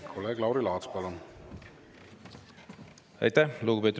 Aitäh, lugupeetud Riigikogu esimees!